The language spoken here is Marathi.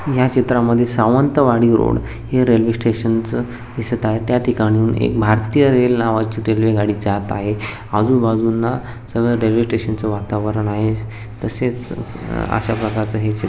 या चित्रा मध्ये सावंतवाडी रोड है रेल्वे स्टेशन च दिसत आहे. त्या ठिकाणाहून एक भारतीय रेल नावाची रेल्वे गाडी जात आहे आजु बाजूला सगळ रेल्वे स्टेशन च वातावरण आहे तसेच अशा प्रकारच हे च --